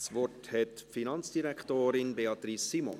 Das Wort hat die Finanzdirektorin, Beatrice Simon.